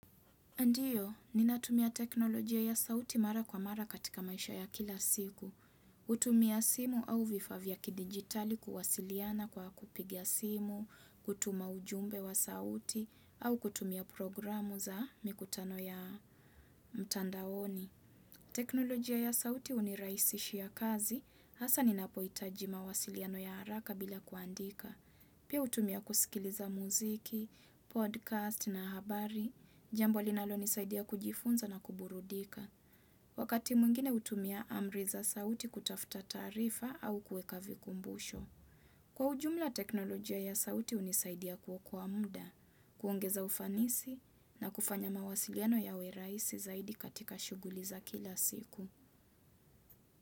Ndiyo, ninatumia teknolojia ya sauti mara kwa mara katika maisha ya kila siku. Kutumia simu au vifaa vya kidigitali kuwasiliana kwa kupiga simu, kutuma ujumbe wa sauti, au kutumia programu za mikutano ya mtandaoni. Teknolojia ya sauti uniraisishi ya kazi, hasa ninapoitaji mawasiliano ya haraka bila kuandika. Pia hutumia kusikiliza muziki, podcast na habari, jambo linalonisaidia kujifunza na kuburudika. Wakati mwingine hutumia amri za sauti kutafuta taarifa au kueka vikumbusho. Kwa ujumla teknolojia ya sauti unisaidia kuokoq muda, kuongeza ufanisi na kufanya mawasiliano yawe raisi zaidi katika shuguli za kila siku.